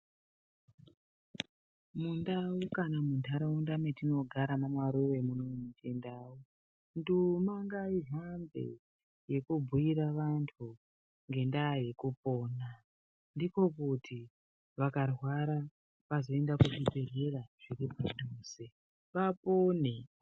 Munhau kana munharaunda metinogara mamaruve munomu muchindau. Nduma ngaihambe yekubhuira antu ngendaa yekupona ndiko kuti vakarwara vazoenda kuzvibhedhlera zviripadhuze vapone.